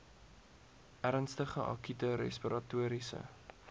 ernstige akute respiratoriese